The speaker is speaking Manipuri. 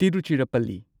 ꯇꯤꯔꯨꯆꯤꯔꯥꯞꯄꯜꯂꯤ